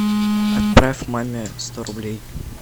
отправь маме сто рублей